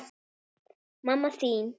Mamma þín